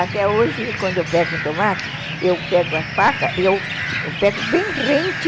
Até hoje, quando eu pego um tomate, eu pego a faca, eu pego bem rente,